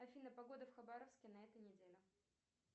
афина погода в хабаровске на этой неделе